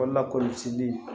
Wala kɔlɔsili